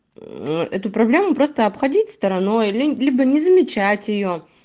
ну эту проблему просто обходить стороной либо не замечать её